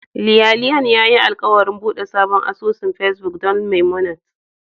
Lianlian yayi alkawarin bude sabon asusun Facebook don Memunant